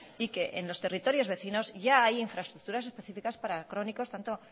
y que en los territorios vecinos ya hay infraestructuras específicas para crónicos tanto